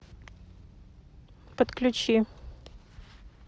подключи